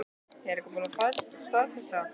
Er búið að staðfesta það?